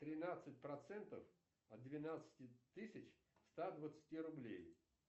тринадцать процентов от двенадцати тысяч ста двадцати рублей